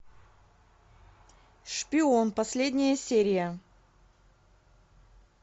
шпион последняя серия